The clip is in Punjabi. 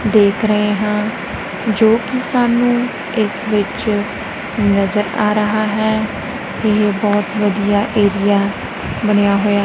ਦੇਖ ਰਹੇ ਹਾਂ ਜੋ ਕਿ ਸਾਨੂੰ ਇਸ ਵਿੱਚ ਨਜ਼ਰ ਆ ਰਹਾ ਹੈ ਤੇ ਬਹੁਤ ਵਧੀਆ ਏਰੀਆ ਬਣਿਆ ਹੋਇਆ--